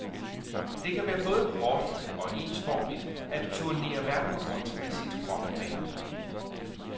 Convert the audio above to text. Det kan være både hårdt og ensformigt at turnere verden rundt med sit rockband.